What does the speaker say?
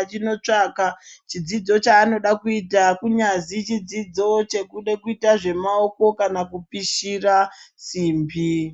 achinotsvaga chidzidzo chaanoda kuita kunyazwi chidzidzo chekuita zvemaoko Kana kupishira simbi.